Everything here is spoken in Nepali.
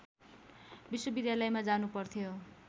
विश्वविद्यालयमा जानुपर्थ्यो